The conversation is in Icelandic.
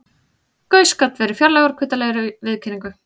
Gauss gat verið fjarlægur og kuldalegur í viðkynningu.